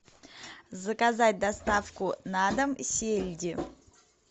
заказать доставку на дом сельди